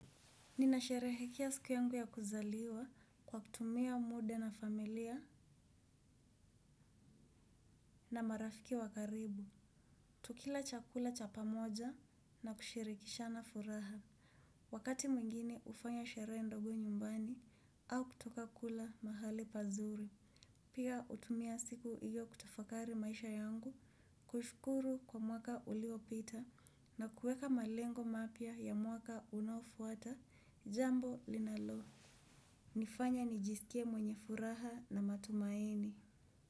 Ninasherehekea siku yangu ya kuzaliwa kwa kutumia muda na familia na marafiki wakaribu. Tukila chakula cha pamoja na kushirikishana furaha. Wakati mwingine ufanya sheree ndogo nyumbani au kutoka kula mahali pazuri. Pia utumia siku iyo kutafakari maisha yangu kushkuru kwa mwaka uliopita na kueka malengo mapia ya mwaka unofuata jambo linalo. Nifanya nijisikie mwenye furaha na matumaini.